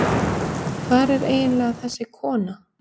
hvar er eiginlega þessi kona